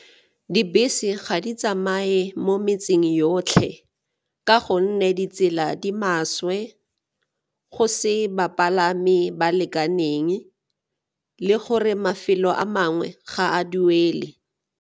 Dibese ga di tsamaye mo metseng yotlhe ka gonne ditsela di maswe, go se bapalami ba lekaneng le gore mafelo a mangwe ga a duele.